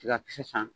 Tigakisɛ san